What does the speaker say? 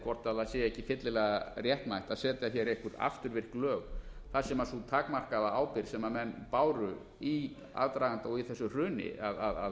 hvort það sé ekki fyllilega réttmætt að setja hér einhver afturvirk lög þar sem sú takmarkaða ábyrgð sem menn báru í aðdraganda og í þessu hruni að